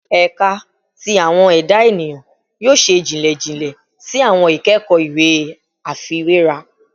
Ẹka ti Awọn Eda Eniyan yoo ṣe jinlẹ jinlẹ si awọn ikẹkọ iwe afiwera